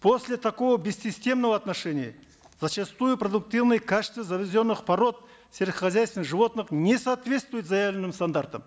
после такого бессистемного отношения зачастую продуктивное качество завезенных пород сельскохозяйственных животных не соответствует заявленным стандартам